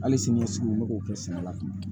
Hali sini ɲɛsigi u bɛ k'o kɛ sɛnɛ la